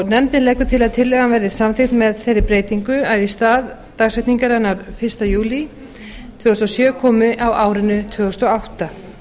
nefndin leggur til að tillagan verði samþykkt með þeirri breytingu að í stað dagsetningarinnar fyrsta júlí tvö þúsund og sjö komi á árinu tvö þúsund og átta